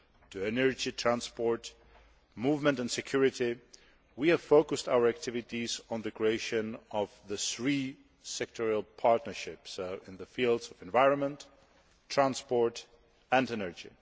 to energy, transport, movement and security, we have focused our activities on the creation of the three sectoral partnerships in the fields of the environment, transport and energy.